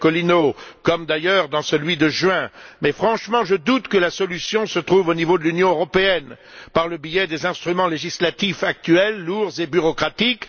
Iacolino, comme d'ailleurs dans celui de juin, mais franchement je doute que la solution se trouve au niveau de l'Union européenne et de ses instruments législatifs actuels, lourds et bureaucratiques.